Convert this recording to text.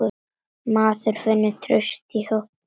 Maður finnur traust í hópnum.